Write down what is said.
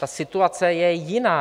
Ta situace je jiná.